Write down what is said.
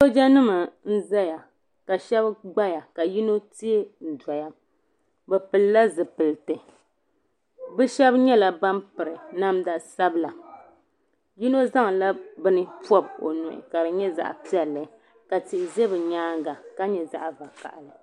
Sooja nim n ʒɛya ka shab gbaya ka yino tee n doya bi pilila zipilisi bi shab nyɛla ban piri namda sabila yino zaŋla bini pob o nuhi ka di nyɛ zaɣ piɛlli ka tihi ʒɛ bi nyaanga ka nyɛ zaɣ vakaɣali